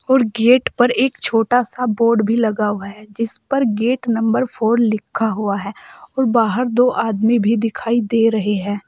और गेट पर एक छोटा सा बोर्ड भी लगा हुआ है जिस पर गेट नंबर फोर लिखा हुआ है और बाहर दो आदमी भी दिखाई दे रहे हैं।